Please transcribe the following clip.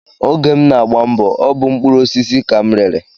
Oge m na-agba mbọ, ọ bụ mkpụrụosisi ka m rere